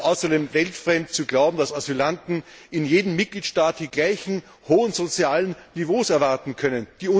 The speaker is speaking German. Es ist außerdem weltfremd zu glauben, dass Asylanten in jedem Mitgliedstaat die gleichen hohen sozialen Niveaus erwarten können.